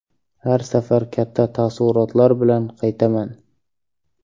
Har safar katta taassurotlar bilan qaytaman.